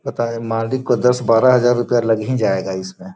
पता है मालिक का दस बारह हजार रुपया लग ही जायेगा इसमें |